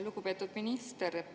Lugupeetud minister!